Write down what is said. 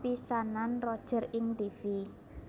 pisanan Roger ing tivi